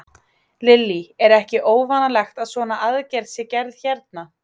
Lillý: Er ekki óvanalegt að svona aðgerð sé gerð hérna?